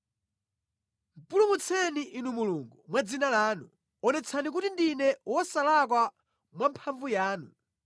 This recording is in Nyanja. Pulumutseni Inu Mulungu, mwa dzina lanu; onetsani kuti ndine wosalakwa mwamphamvu yanu.